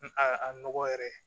A a a nɔgɔ yɛrɛ